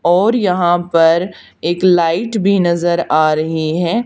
और यहां पर एक लाइट भी नजर आ रही है।